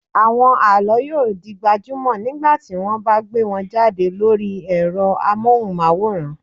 Àwọn àlọ́ yóò di gbajúmọ̀ nígbà tí wọ́n bá gbé wọn jáde lórí ẹ̀rọ amóhùnmáwòrán.